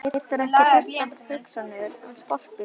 Getur ekki hrist af sér hugsanirnar um sportbílinn.